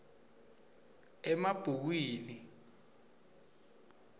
emabhukwini